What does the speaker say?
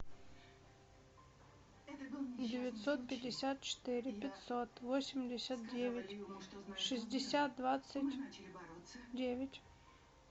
девятьсот пятьдесят четыре пятьсот восемьдесят девять шестьдесят двадцать девять